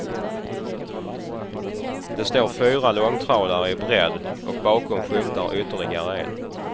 Det står fyra långtradare i bredd och bakom skymtar ytterligare en.